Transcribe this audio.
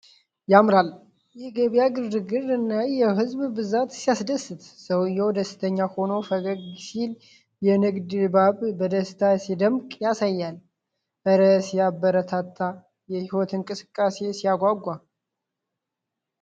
ያምራል! የገበያ ግርግርና የህዝብ ብዛት ሲያስደስት! ሰውየው ደስተኛ ሆኖ ፈገግ ሲል የንግድ ድባቡ በደስታ ሲደምቅ ያሳያል። እረ ሲያበረታታ! የህይወት እንቅስቃሴ ሲያጓጓ!